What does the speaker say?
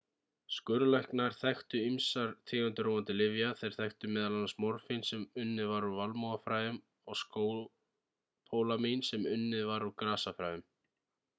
skurðlæknar þekktu ýmsar tegundir róandi lyfja þeir þekktu m.a. morfín sem unnið var úr valmúafræjum og skópólamín sem unnið var úr grasafræjum